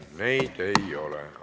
Neid ei ole.